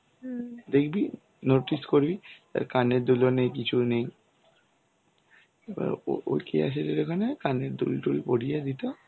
দেখবি notice করবি তার কানের দুলও নেই কিছু নেই. এবার ওর কেয়া শেঠ এর ওখানে কানের দুল টুল পরিয়ে দিত.